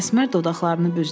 Əsmər dodaqlarını büzdü.